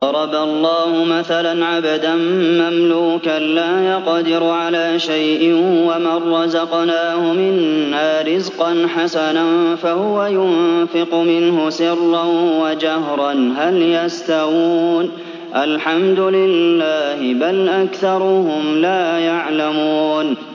۞ ضَرَبَ اللَّهُ مَثَلًا عَبْدًا مَّمْلُوكًا لَّا يَقْدِرُ عَلَىٰ شَيْءٍ وَمَن رَّزَقْنَاهُ مِنَّا رِزْقًا حَسَنًا فَهُوَ يُنفِقُ مِنْهُ سِرًّا وَجَهْرًا ۖ هَلْ يَسْتَوُونَ ۚ الْحَمْدُ لِلَّهِ ۚ بَلْ أَكْثَرُهُمْ لَا يَعْلَمُونَ